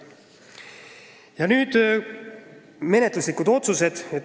Ja nüüd menetluslikest otsustest.